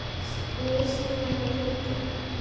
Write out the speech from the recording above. Snýst með hann í hringi.